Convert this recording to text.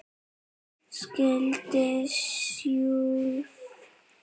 Skyldan sjálf